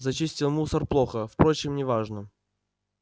зачистил мусор плохо впрочем не важно